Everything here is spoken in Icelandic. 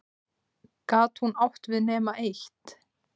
Gat hún átt við nema eitt?